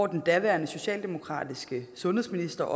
den daværende socialdemokratiske sundhedsminister